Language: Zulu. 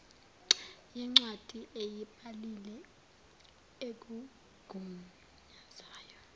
yencwadi ayibhalile ekugunyazayo